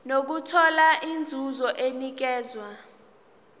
nokuthola inzuzo enikezwa